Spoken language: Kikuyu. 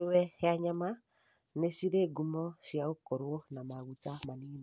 Ngũrũwe ya nyama nĩ cirĩ ngumo cia gũkorwo na maguta manini.